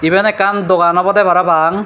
eben ekkan dogan obodey para pang.